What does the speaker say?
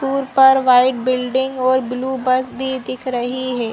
दूर पर white building और ब्लू बस भी दिख रही है।